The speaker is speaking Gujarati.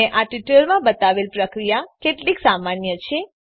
મેં આ ટ્યુટોરીયલમાં બતાવેલ પ્રક્રિયા કેટલી સામાન્ય છે